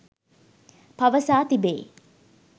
පවසා තිබේ.